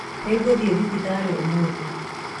Nĩ ngũthĩe thibitarĩ ũmũthĩ